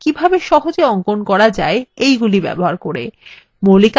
in tutorial তে আপনি শিখেছেন কিভাবে সহজে অঙ্কন করা যায় এগুলি ব্যবহার করে